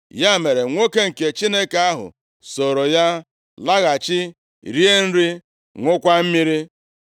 Ya mere, nwoke nke Chineke ahụ soro ya laghachi rie nri, ṅụọkwa mmiri.